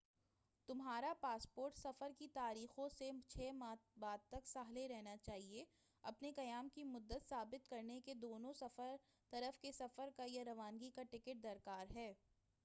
تمہارا پاسپورٹ سفر کی تاریخوں سے 6 ماہ بعد تک صالح رہنا چاہئے اپنے قیام کی مدت ثابت کرنے کے دونوں طرف کے سفر کا یا روانگی کا ٹکٹ درکار ہے